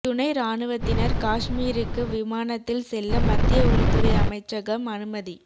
துணை ராணுவத்தினர் காஷ்மீருக்கு விமானத்தில் செல்ல மத்திய உள்துறை அமைச்சகம் அனுமதி